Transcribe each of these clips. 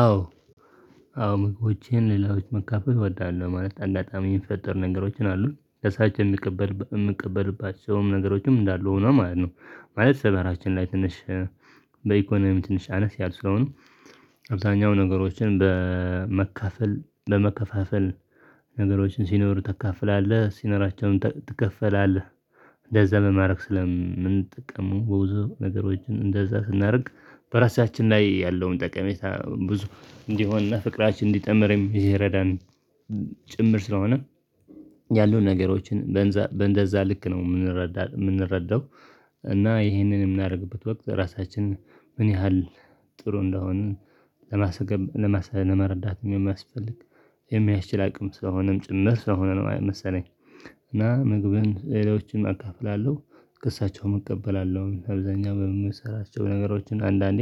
አዎ። አዎ ምግቦቼን ለሌሎች ማካፈል እወዳለሁ ማለት አንዳንድ ጣዐም የሚፈጠር ነገሮች አሉ ለሳች የሚቀበል የምቀበልባቸውም ነገሮችም እንዳሉ ሆኖ ማለት ነው። ማለት ሰፈራችን ላይ ትንሽ በኢኮኖሚ ትንሽ አነስ ያልን ስለሆንን አብዛኛው ነገሮችን በመካፈል በመከፋፈል ነገሮችን ሲኖሩ ታካፍላለህ ሲኖራቸውም ትካፈላለህ እንደዛ በማድረግ ስለምንጠቀሙም ብዙ ነገሮችን እንደዛ ስናደርግ በራሳችን ላይ ያለውን ጠቀሜታ ብዙ እንዲሆንና ፍቅራችን እንዲጠምርም የሚረዳን ጭምር ስለሆነ። ያሉን ነገሮችን በእንደዛ ልክ ነው የምንረዳው። እና ይሄንን የምናደርግበት ወቅት ራሳችንን ምን ያህል ጥሩ እንደሆንን። ለመረዳትም የሚያስፈልግ የሚያስችል አቅም ስለሆነም ጭምር ስለሆነ ነው መሰለኝ። እና ምግብን ለሌሎች አካፍላለሁ። ከእሳቸውም እቀበላለሁ አብዛኛው በምሰራቸው ነገሮች አንዳንዴ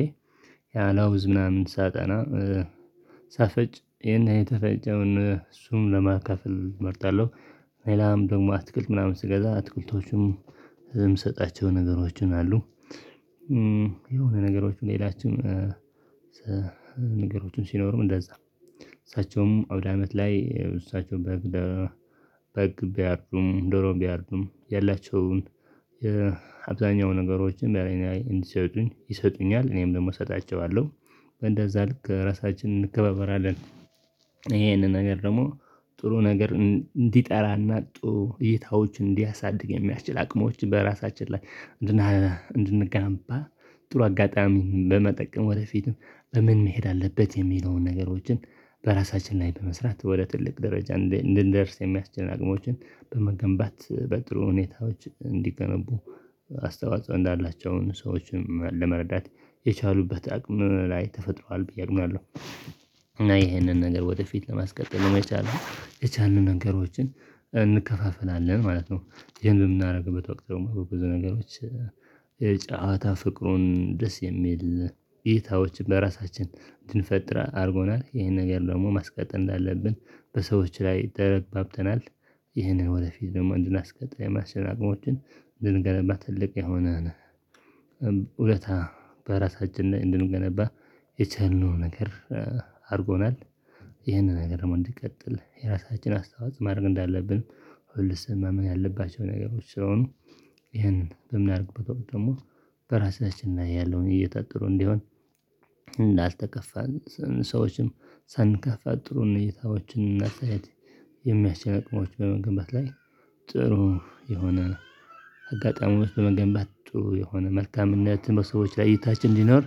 ያላውዝ ምናምን ሳጠና ጣፋጭ ይሄን የተፈጨውን እርሱን ለማካፈል እመርጣለሁ። ሌላም ደግሞ አትክልት ምናምን ስገዛ አትክልቶቹም የምሰጣቸው ነገሮችን አሉ። የሆነ ነገሮች ሌሎችም ነገሮች ሲኖሩ እንደዛ። እሳቸውም አውድ አመት ላይ እሳቸው በግ በግ ቢያርዱም ዶሮ ቢያርዱም ያላቸውን የአብዛኛው ነገሮችን እንዲሰጡኝ ይሰጡኛል እኔም ደግሞ እሰጣቸዋለሁ። በእንደዛ ልክ ራሳችንን እንከባበራለን። ይሄንን ነገር ደግሞ ጥሩ ነገር እንዲጠራ እና እይታዎችን እንዲያሳድግ የሚያስችል አቅሞችን በራሳችን ላይ። እንድንገነባ ጥሩ አጋጣሚ በመጠቀም ወደፊትም በምን መሄድ አለበት የሚለውን ነገሮችን በራሳችን ላይ በመስራት ወደ ትልቅ ደረጃ እንድንደርስ የሚያስችል አቅሞችን በመገንባት በጥሩ ሁኔታዎች እንዲገነቡ አስተዋጽኦ እንዳላቸው ሰዎችን ለመርዳት የቻሉበት አቅም ላይ ተፈጥሯል ብዬ አውቃለሁ። እና ይሄንን ነገር ወደፊት ለማስቀጠል መቻል የቻልንው ነገሮችን እንከፋፈላለን ማለት ነው። ይሄን በምናደርግበት ወቅት የማውቀው ብዙ ነገሮች የጫወታ ፍቅሩን ደስ የሚል እይታዎችን በራሳችን እንድንፈጥር አድርጎናል ይሄን ነገር ደግሞ ማስቀጠል እንዳለብን በሰዎች ላይ ተረግባብተናል። ይህንን ወደፊት ደግሞ እንድናስቀጥል የማስቻል አቅሞችን ልንገነባ ትልቅ የሆነን እውነት በራሳችን እንድንገነባ የቻልነው ነገር አድርጎናል። ይህንን ነገር እንድትቀጥል የራሳችን አስተዋጽኦ ማድረግ እንዳለብን ሁሉስ ምናምን ያለባቸው ነገሮች ስለሆኑ። ይሄንን በምናደርግበት ደግሞ በራሳችን ላይ ያለሁ እየታገሉ እንዲሆን እንዳልተጋፋን ሰዎችንም ሳናስከፋ ጥሩን እይታዎችን አስተያየት አቅሞች በመገንባት ላይ። ጥሩ የሆነ አጋጣሚዎች በመገንባቱ ጥሩ የሆነ መልካምነትን በሰዎች ላይ እይታችን ሊኖር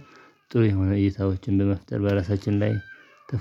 ጥሩ የሆነ እይታዎችን በመፍጠር በራሳችን ላይ።